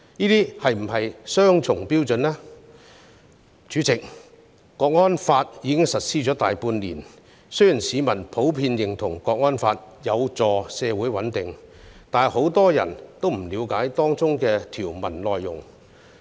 代理主席，《香港國安法》已實施大半年，雖然市民普遍認同《香港國安法》有助社會穩定，但不少人並不了解當中條文的內容。